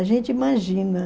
A gente imagina.